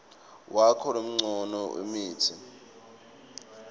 wakho loncome lemitsi